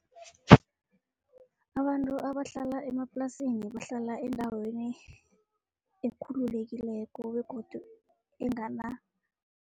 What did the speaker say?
Abantu abahlala emaplasini bahlala endaweni ekhululekileko begodu